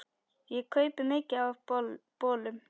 Ég kaupi mikið af bolum.